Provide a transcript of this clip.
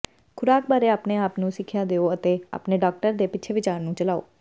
ਖ਼ੁਰਾਕ ਬਾਰੇ ਆਪਣੇ ਆਪ ਨੂੰ ਸਿੱਖਿਆ ਦਿਓ ਅਤੇ ਆਪਣੇ ਡਾਕਟਰ ਦੇ ਪਿੱਛੇ ਵਿਚਾਰ ਨੂੰ ਚਲਾਓ